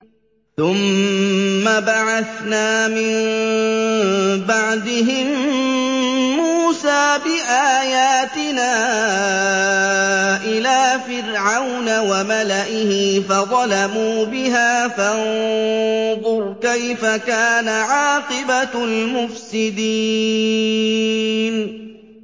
ثُمَّ بَعَثْنَا مِن بَعْدِهِم مُّوسَىٰ بِآيَاتِنَا إِلَىٰ فِرْعَوْنَ وَمَلَئِهِ فَظَلَمُوا بِهَا ۖ فَانظُرْ كَيْفَ كَانَ عَاقِبَةُ الْمُفْسِدِينَ